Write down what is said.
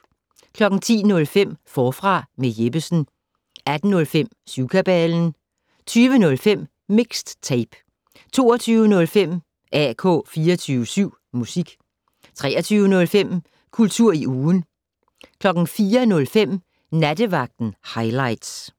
10:05: Forfra med Jeppesen 18:05: Syvkabalen 20:05: Mixed Tape 22:05: AK 24syv Musik 23:05: Kultur i ugen 04:05: Nattevagten Highligts